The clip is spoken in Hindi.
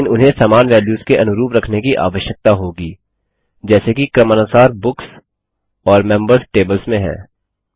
लेकिन उन्हें समान वेल्यूस के अनुरूप रखने की आवश्यकता होगी जैसे कि क्रमानुसार बुक्स और मेंबर्स टेबल्स में है